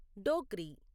Dogri